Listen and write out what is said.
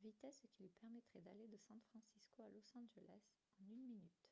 vitesse qui lui permettrait d’aller de san francisco à los angeles en une minute